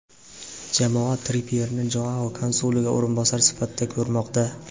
Jamoa Trippyerni Joau Kanseluga o‘rinbosar sifatida ko‘rmoqda.